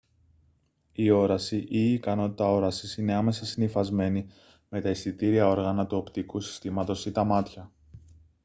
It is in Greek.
η όραση ή η ικανότητα όρασης είναι άμεσα συνυφασμένη με τα αισθητήρια όργανα του οπτικού συστήματος ή τα μάτια